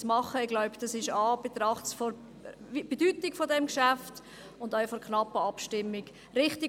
Ich glaube, das ist in Anbetracht der Bedeutung des Geschäfts und auch des knappen Abstimmungsresultats richtig.